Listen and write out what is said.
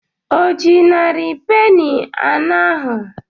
O ji narị peni anọ ahụ?